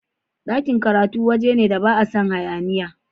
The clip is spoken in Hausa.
Dakin karatu wajene da ba a san hayaniya.